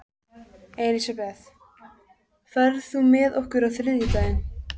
Elisabeth, ferð þú með okkur á þriðjudaginn?